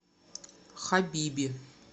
хабиби